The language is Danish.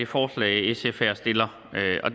forslag sf her stiller